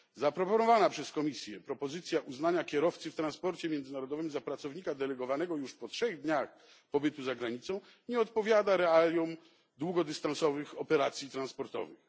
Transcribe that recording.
Przedstawiona przez Komisję propozycja uznania kierowcy w transporcie międzynarodowym za pracownika delegowanego już po trzech dniach pobytu za granicą nie odpowiada realiom długodystansowych operacji transportowych.